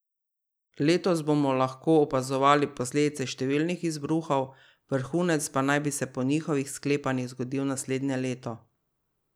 Letos bomo lahko opazovali posledice številnih izbruhov, vrhunec pa naj bi se po njihovih sklepanjih zgodil naslednje leto.